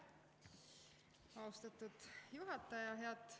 Aitäh, austatud juhataja!